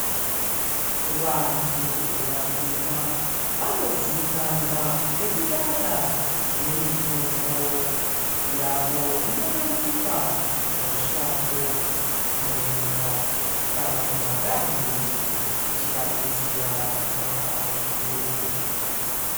Vantu vatema vanozikwanwa ngekudada nemitombo yavo inowanikwa mushango , mumunda kana mumagadheni ichivadetsera kurapa zvirwere.